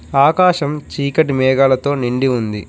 ఆకాశం చీకటి మేఘాలతో నిండి ఉంది.